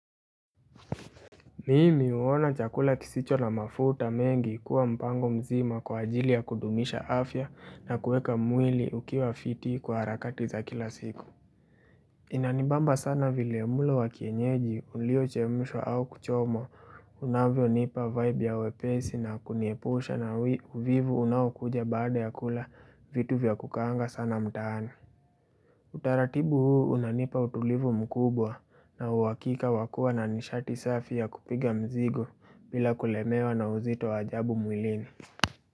Mimi huona chakula kisicho na mafuta mengi kuwa mpango mzima kwa ajili ya kudumisha afya na kueka mwili ukiwa fiti kwa harakati za kila siku. Inanibamba sana vile mlo wa kienyeji uliochemshwa au kuchomwa unavyonipa vibe ya wepesi na kuniepusha na uvivu unaokuja baada ya kula vitu vya kukaanga sana mtaani. Utaratibu huu unanipa utulivu mkubwa na uhakika wa kua na nishati safi ya kupiga mzigo bila kulemewa na uzito ajabu mwilini.